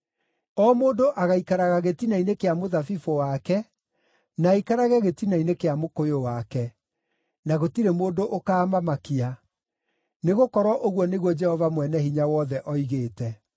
O mũndũ agaikaraga gĩtina-inĩ kĩa mũthabibũ wake na aikarage gĩtina-inĩ kĩa mũkũyũ wake, na gũtirĩ mũndũ ũkaamamakia, nĩgũkorwo ũguo nĩguo Jehova Mwene-Hinya-Wothe oigĩte.